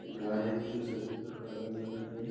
एक गाय है जो सफ़ेद और काला कलर के है।